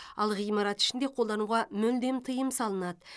ал ғимарат ішінде қолдануға мүлдем тыйым салынады